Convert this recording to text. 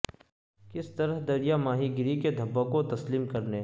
کس طرح دریا ماہی گیری کے دھبوں کو تسلیم کرنے